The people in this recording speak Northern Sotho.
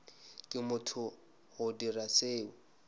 ke motho go dira seo